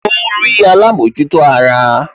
Ó ń rí alámòjútó ara